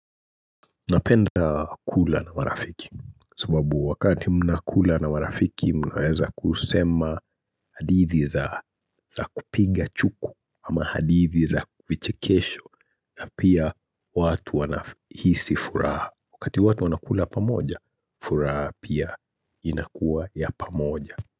Napenda kula na marafiki, sababu wakati mnakula na marafiki mnaweza kusema hadithi za kupiga chuku ama hadithi za vichekesho na pia watu wana hisi furaha. Wakati watu wanakula pamoja, furaha pia inakuwa ya pamoja.